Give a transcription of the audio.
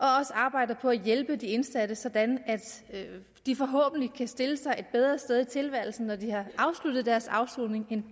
arbejder på at hjælpe de indsatte sådan at de forhåbentlig kan stille sig et bedre sted i tilværelsen når de har afsluttet deres afsoning end